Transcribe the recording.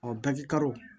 baji karo